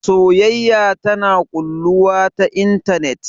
Soyayya tana ƙulluwa ta intanet